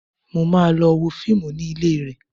Mo máa lọ wo fíìmù ní ilé rẹ̀